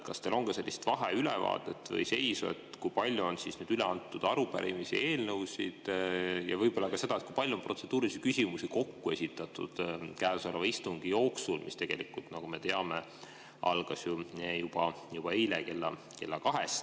Kas teil on ka vaheülevaadet või ‑seisu, kui palju on üle antud arupärimisi ja eelnõusid, ja võib-olla ka seda, kui palju on protseduurilisi küsimusi kokku esitatud käesoleva istungi jooksul, mis tegelikult, nagu me teame, algas ju juba eile kella kahest?